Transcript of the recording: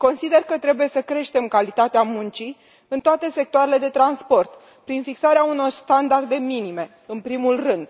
Consider că trebuie să creștem calitatea muncii în toate sectoarele de transport, prin fixarea unor standarde minime, în primul rând.